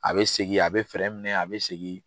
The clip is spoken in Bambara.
A be segin a be minɛ a be segin